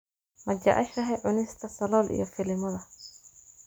Ma jeceshahay cunista salool iyo filimada?